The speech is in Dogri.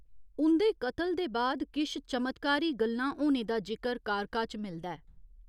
उं'दे कतल दे बाद किश चमत्कारी गल्लां होने दा जिकर कारका च मिलदा ऐ।